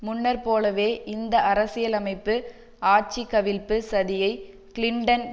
முன்னர் போலவே இந்த அரசியலமைப்பு ஆட்சி கவிழ்ப்பு சதியை கிளின்டன்